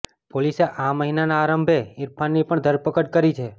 પોલીસે આ મહિનાના આરંભે ઇરફાનની પણ ધરપકડ કરી છે